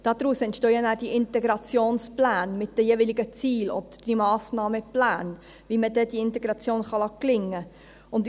Daraus entstehen ja dann die Integrationspläne mit den jeweiligen Zielen, oder diese Massnahmenpläne, wie man diese Integration dann gelingen lassen kann.